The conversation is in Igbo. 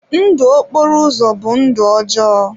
Ndụ okporo ụzọ bụ ndụ ọjọọ.